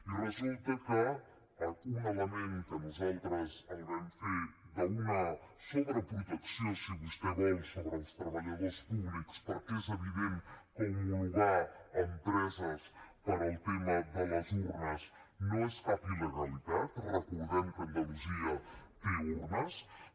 i resulta que un element que nosaltres el vam fer d’una sobreprotecció si vostè vol sobre els treballadors públics perquè és evident que homologar empreses pel tema de les urnes no és cap il·legalitat recordem que andalusia té urnes